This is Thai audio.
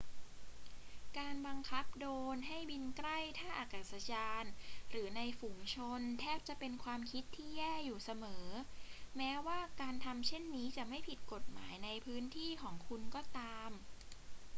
การบังคับโดรนให้บินใกล้ท่าอากาศยานหรือในฝูงชนแทบจะเป็นความคิดที่แย่อยู่เสมอ แม้ว่าการทำเช่นนี้จะไม่ผิดกฎหมายในพื้นที่ของคุณก็ตาม